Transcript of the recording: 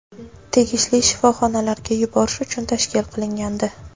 tegishli shifoxonalarga yuborish uchun tashkil qilingandi.